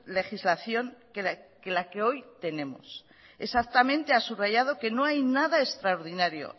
legislación que la que hoy tenemos exactamente ha subrayado que no hay nada extraordinario